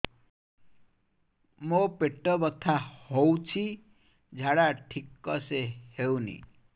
ମୋ ପେଟ ବଥା ହୋଉଛି ଝାଡା ଠିକ ସେ ହେଉନି